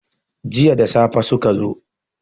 jiya da safe suka zo